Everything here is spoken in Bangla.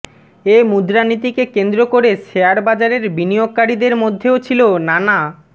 এ মুদ্রানীতিকে কেন্দ্র করে শেয়ারবাজারের বিনিয়োগকারীদের মধ্যেও ছিল নানা